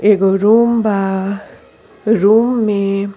एगो रूम बा। रूम में --